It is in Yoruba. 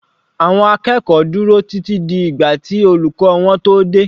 Àwọn akẹ́kọ̀ọ́ dúró títí di ìgbà tí olùkọ́ wọn tó dé.